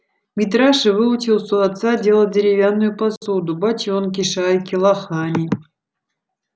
митраша выучился у отца делать деревянную посуду бочонки шайки лохани